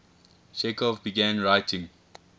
chekhov began writing